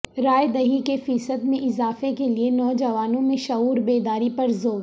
رائے دہی کے فیصد میں اضافہ کیلئے نوجوانوں میں شعور بیداری پر زور